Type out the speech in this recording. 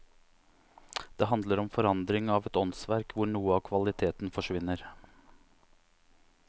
Det handler om forandring av et åndsverk, hvor noe av kvaliteten forsvinner.